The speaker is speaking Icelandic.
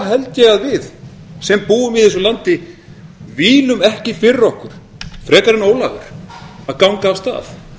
held ég að við sem búum í þessu landi vílum ekki fyrir okkur frekar en ólafur að ganga af stað